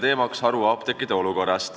Teema on haruapteekide olukord.